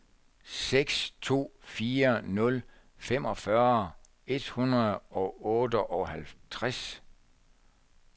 seks to fire nul femogfyrre et hundrede og otteoghalvtreds